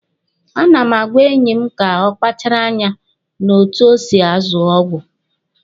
A na m agwa enyi m ka ọ kpachara anya n'otu o si azụ ọgwụ.